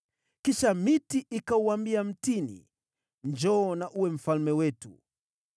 “Kisha miti ikauambia mtini, ‘Njoo na uwe mfalme wetu!’